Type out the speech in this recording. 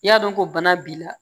N'i y'a dɔn ko bana b'i la